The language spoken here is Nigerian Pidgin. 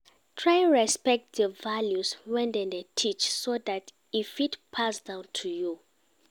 Try respect di values wey dem de teach so that e fit pass down to you